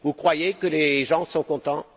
Vous croyez que les gens sont contents?